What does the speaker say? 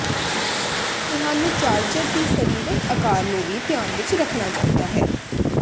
ਤੁਹਾਨੂੰ ਚਾਰਜਰ ਦੀ ਸਰੀਰਕ ਆਕਾਰ ਨੂੰ ਵੀ ਧਿਆਨ ਵਿੱਚ ਰੱਖਣਾ ਚਾਹੀਦਾ ਹੈ